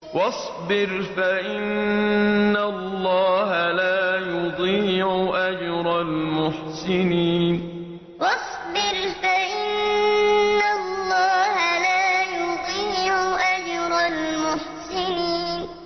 وَاصْبِرْ فَإِنَّ اللَّهَ لَا يُضِيعُ أَجْرَ الْمُحْسِنِينَ وَاصْبِرْ فَإِنَّ اللَّهَ لَا يُضِيعُ أَجْرَ الْمُحْسِنِينَ